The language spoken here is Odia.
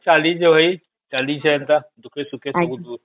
ଚାଲିଛି ଏଇ ଚାଲିଛି ସେମିତି ଦୁଃଖେ ସୁଖେ